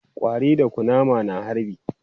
Ƙwari da kunama na harbi